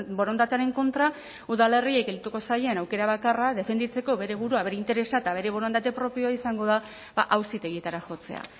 borondatearen kontra udalerriei geldituko zaien aukera bakarra defenditzeko bere burua bere interesa eta bere borondate propioa izango da auzitegietara jotzea